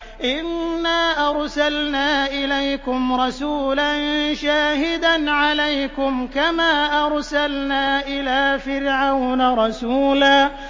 إِنَّا أَرْسَلْنَا إِلَيْكُمْ رَسُولًا شَاهِدًا عَلَيْكُمْ كَمَا أَرْسَلْنَا إِلَىٰ فِرْعَوْنَ رَسُولًا